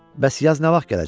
Bəs yaz nə vaxtdı?